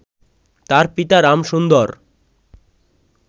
তার পিতা রামসুন্দর